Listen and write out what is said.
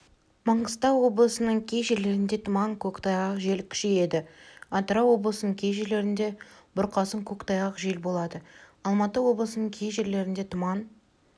маңғыстау облысының кей жерлерінде тұман көктайғақ жел күшейеді атырау облысының кей жерлерінде бұрқасын көктайғақ жел болады алматы облысының кей жерлерінде тұман